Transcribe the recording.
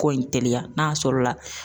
Ko in teliya n'a sɔrɔla